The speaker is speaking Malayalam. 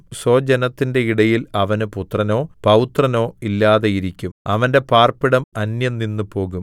സ്വജനത്തിന്റെ ഇടയിൽ അവന് പുത്രനോ പൌത്രനോ ഇല്ലാതെയിരിക്കും അവന്റെ പാർപ്പിടം അന്യം നിന്നുപോകും